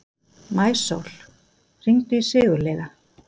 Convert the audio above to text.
Maísól, hringdu í Sigurliða.